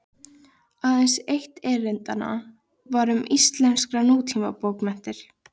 Aðeins eitt erindanna var um íslenskar nútímabókmenntir.